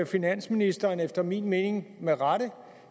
finansministeren efter min mening med rette